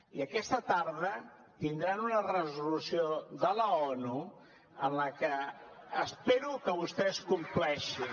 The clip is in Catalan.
i aquesta tarda tindran una resolució de l’onu la qual espero que vostès compleixin